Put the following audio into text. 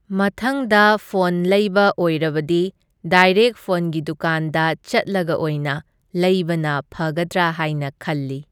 ꯃꯊꯪꯗ ꯐꯣꯟ ꯂꯩꯕ ꯑꯣꯏꯔꯕꯗꯤ ꯗꯥꯏꯔꯦꯛ ꯐꯣꯟꯒꯤ ꯗꯨꯀꯥꯟꯗ ꯆꯠꯂꯒ ꯑꯣꯏꯅ ꯂꯩꯕꯅ ꯐꯒꯗ꯭ꯔꯥ ꯍꯥꯢꯅ ꯈꯜꯂꯤ꯫